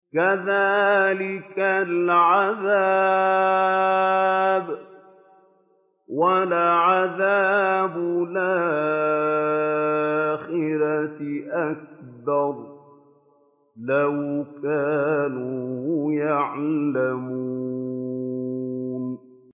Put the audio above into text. كَذَٰلِكَ الْعَذَابُ ۖ وَلَعَذَابُ الْآخِرَةِ أَكْبَرُ ۚ لَوْ كَانُوا يَعْلَمُونَ